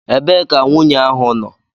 Ebee ka nwunye ahụ nọ?